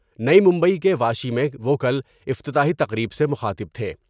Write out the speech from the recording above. نئی ممبئی کے واشی میں وہ کل افتتاحی تقریب سے مخاطب تھے ۔